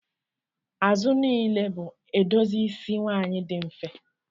Azụ niile bụ edozi isi nwanyị dị mfe